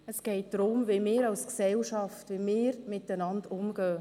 Es geht darum, wie wir als Gesellschaft miteinander umgehen.